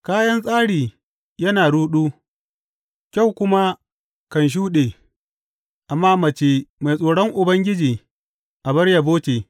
Kayan tsari yana ruɗu, kyau kuma kan shuɗe; amma mace mai tsoron Ubangiji abar yabo ce.